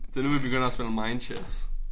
Det nu vi begynder at spille mind chess